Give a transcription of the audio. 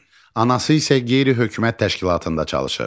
Anası isə qeyri-hökumət təşkilatında çalışır.